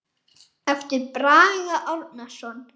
eftir Braga Árnason